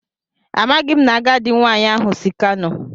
Amaghim na agadi nwanyi ahu si kano